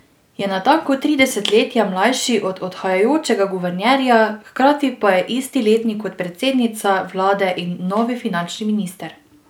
Je natanko tri desetletja mlajši od odhajajočega guvernerja, hkrati pa je isti letnik kot predsednica vlade in novi finančni minister.